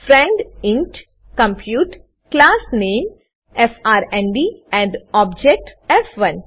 friend ઇન્ટ compute class નામે F R N D and object ફ1